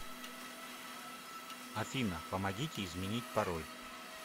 афина помогите изменить пароль